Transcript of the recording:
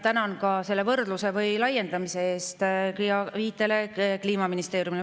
Tänan ka selle võrdluse või laiendamise eest, viite eest Kliimaministeeriumile.